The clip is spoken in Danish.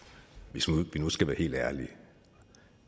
hvis vi nu skal være helt ærlige